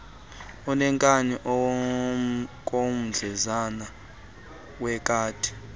uneenkani okomdlezana wekati